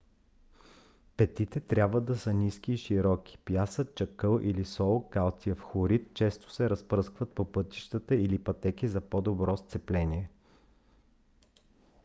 петите трябва да са ниски и широки. пясък чакъл или сол калциев хлорид често се разпръскват по пътища или пътеки за по-добро сцепление